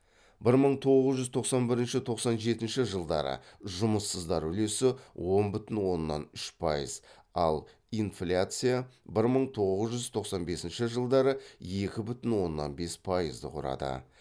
бір мың тоғыз жүз тоқсан бірінші тоқсан жетінші жылдары жұмыссыздар үлесі он бүтін оннан үш пайыз ал инфляция бір мың тоғыз жүз тоқсан бесінші жылдары екі бүтін оннан бес пайызды құрады